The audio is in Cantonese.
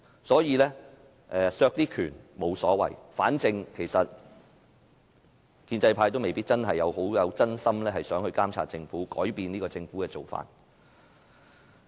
所以，削去一些權力沒所謂，反正建制派未必真心希望監察政府和改變政府的做法。